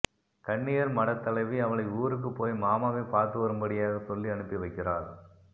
கன்னியர்மடத்தலைவி அவளை ஊருக்கு போய் மாமாவை பார்த்துவரும்படியாக சொல்லி அனுப்பி வைக்கிறாள்